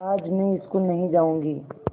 आज मैं स्कूल नहीं जाऊँगी